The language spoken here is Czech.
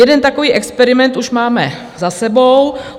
Jeden takový experiment už máme za sebou.